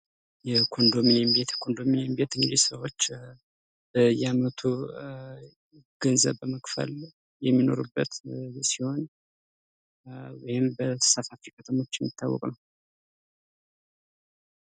የኮንዶሚኒየም ቤት እንግዲህ ሰዎች በየአመቱ ገንዘብ በመክፈል የሚኖሩበት ሲሆን፤ ይህንም በተሳታፊ ከተሞች የሚታወቃ ነው።